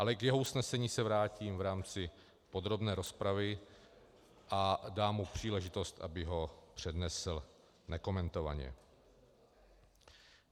Ale k jeho usnesení se vrátím v rámci podrobné rozpravy a dám mu příležitost, aby ho přednesl nekomentovaně.